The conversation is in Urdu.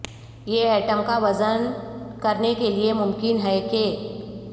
یہ ایٹم کا وزن کرنے کے لئے ممکن ہے کہ